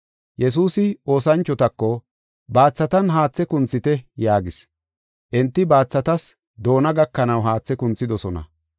Yesuusi oosanchotako, “Baathatan haathe kunthite” yaagis. Enti baathatas doona gakanaw haathe kunthidosona.